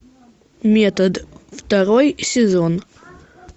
метод второй сезон